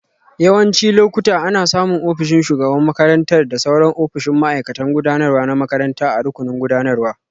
Yawancin lokuta, ana samun ofishin shugaban makarantar da sauran ofisoshin ma'aikatan gudanarwa na makaranta a rukunin gudanarwa.